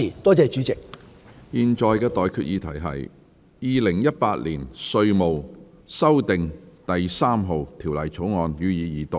我現在向各位提出的待決議題是：《2018年稅務條例草案》，予以二讀。